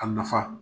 A nafa